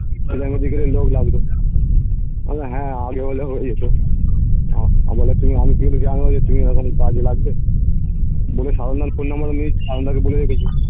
লোক লাগতো আমি হ্যাঁ আগে হলে হয়ে যেত আহ কাজে লাগবে বলে সাধন দাড় phone number ও সাধন দাকে বলে রেখেছি